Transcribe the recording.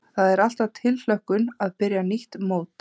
Það er alltaf tilhlökkun að byrja nýtt mót.